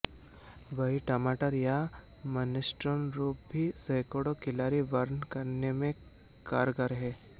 वहीं टमाटर या मिनेस्ट्रोन सूप भी सैकड़ों कैलोरी बर्न करने में कारगर है